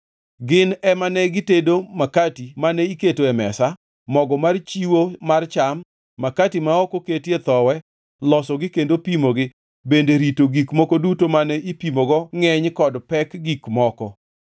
Gin ema ne gitedo makati mane iketo e mesa, mogo mar chiwo mar cham, makati ma ok oketie thowi, losogi kendo pimogi, bende rito gik moko duto mane ipimogo ngʼeny kod pek gik moko.